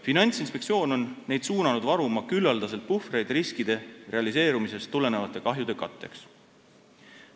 Finantsinspektsioon on neid suunanud varuma küllaldaselt puhvreid riskide realiseerumisest tulenevate kahjude katteks.